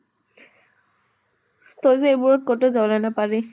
তই যে এইবোৰত কতো জাগা নাপালি।